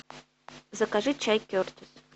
закажи чай кертис